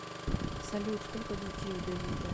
салют сколько детей у давида